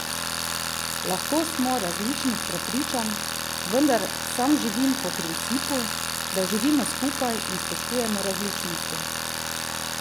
Lahko smo različnih prepričanj, vendar sam živim po principu, da živimo skupaj in spoštujemo različnosti.